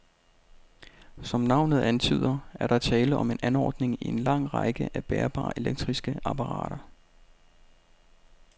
Som navnet antyder, er der tale om en anordning i en lang række af bærbare elektriske apparater.